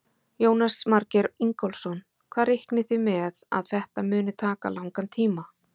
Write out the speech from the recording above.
Jónas Margeir Ingólfsson: Hvað reiknið þið með að þetta muni taka langan tíma?